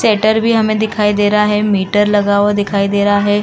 Shutter भी हमें दिखाई दे रहा है। मीटर लगा हुए दिखाई दे रहा है।